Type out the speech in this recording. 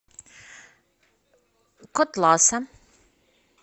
котласа